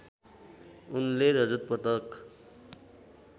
उनले रजत पदक